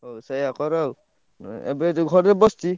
ହଉ ସେୟା କର ଆଉ ଉଁ ଏବେ ଯୋଉ ଘରେ ବସଛି।